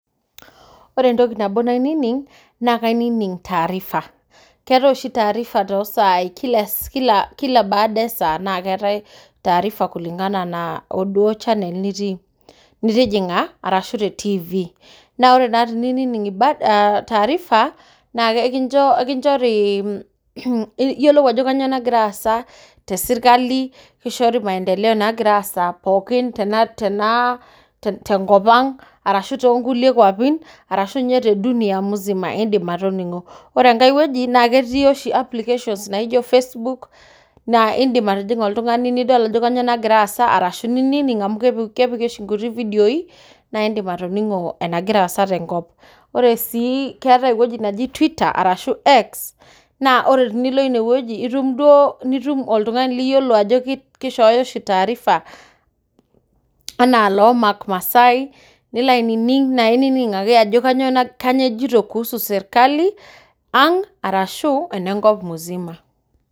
Ore entoki nabo nainining, kainining taarifa. keetae oshi taarifa too saai kila baada esaa naa keetae taarifa kulingana na o duo channel nitii nitijing'a arashu, te TV naa ore pinining taarifa niyiolou ajo kainyio nagira aasa te sirkali kishoru maendeleo naagira aasa aaishiyo te nkop ang arashu tonkulie kwapi arashu te dunia musima. ore enkae wueji naa ketii nkulie application naaijo Facebook naa indim atijing'a nidol ajo kainyio nagira aasa amu kepiki oshi nkuti vidioi, naa indim atijing'a naagira aasa te nkop ore sii naa keetae kulie naaijo tweeter arashu X naa ore tenilo ine wueji nitum oltung'ani liyiolo ajo kishooyo oshi taarifa anaa mark masaai nilo ainining kuusu mbaa esirkali, ang arashu ene nkop musima.